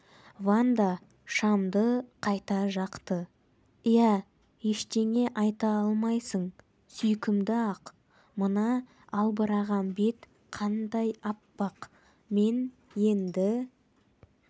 ванда шамды қайта жақты иә ештеңе айта алмайсың сүйкімді-ақ мына албыраған бет қандай аппақ мен енді